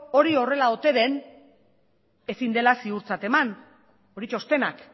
hori horrela ote den ezin dela ziurtzat eman hori txostenak